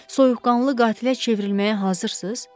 Soyuqqanlı qatilə çevrilməyə hazırsız?